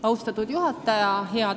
Austatud juhataja!